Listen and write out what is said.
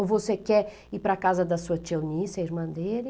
Ou você quer ir para a casa da sua tia Onísse, a irmã dele?